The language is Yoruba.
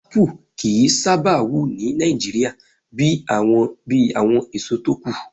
Ápù kì í sábà wù ní Nigeria bíi àwọn èso tókù